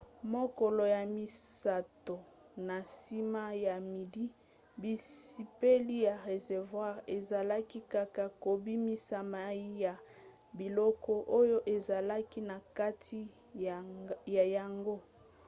mokolo ya misato na nsima ya midi bizipeli ya réservoir ezalaki kaka kobimisa mai ya biloko oyo ezalaki na kati na yango